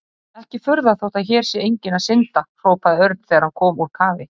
Ekki furða þótt hér sé enginn að synda hrópaði Örn þegar hann kom úr kafi.